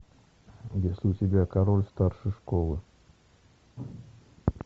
есть ли у тебя король старшей школы